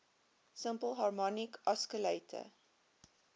simple harmonic oscillator